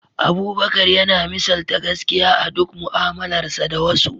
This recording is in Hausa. Abubakar yana misalta gaskiya a duk mu’amalarsa da wasu.